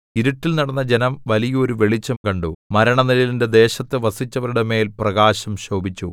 ഇരുട്ടിൽ നടന്ന ജനം വലിയൊരു വെളിച്ചം കണ്ടു മരണനിഴലിന്റെ ദേശത്തു വസിച്ചവരുടെ മേൽ പ്രകാശം ശോഭിച്ചു